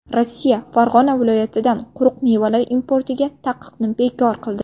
Rossiya Farg‘ona viloyatidan quruq mevalar importiga taqiqni bekor qildi.